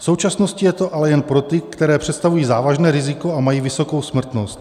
V současnosti je to ale jen pro ty, které představují závažné riziko a mají vysokou smrtnost.